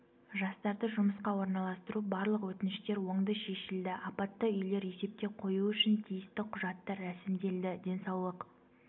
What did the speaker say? жастарды жұмысқа орналастыру барлық өтініштер оңды шешілді апатты үйлер есепке қою үшін тиісті құжаттар рәсімделді денсаулық